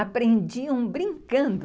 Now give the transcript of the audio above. Aprendiam brincando.